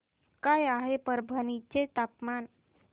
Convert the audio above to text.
काय आहे परभणी चे तापमान